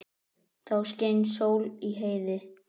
Þá skein sól í heiði.